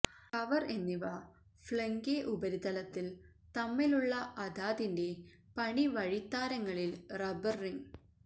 cover എന്നിവ flange ഉപരിതലത്തിൽ തമ്മിലുള്ള അതാതിന്റെ പണി വഴിത്താരകളിൽ റബ്ബർ റിംഗ്